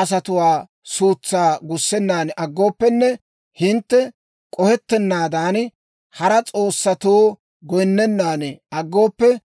asatuwaa suutsaa gussennan aggooppenne, hintte k'ohettennaadan, hara s'oossatoo goyinnennan aggooppe,